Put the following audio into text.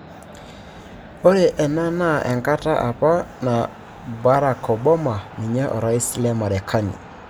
'Ore ena naa enkata apa na Barack Oboma niye orais le Marekani.